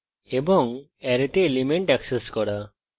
এবং অ্যারেতে element access করা